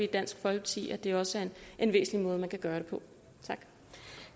dansk folkeparti at det også er en væsentlig måde man kan gøre det på